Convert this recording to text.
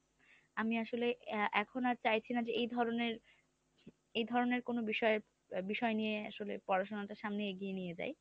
আমি আসলে এখন আর চাইছি না, যে এই ধরনের এই ধরনের কোন বিষয়ে বিষয় নিয়ে আসলে পড়াশোনাটা সামনে এগিয়ে নিয়ে যাই।